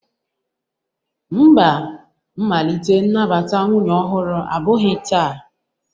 Mba, mmalite nnabata nwunye ọhụrụ abụghị taa.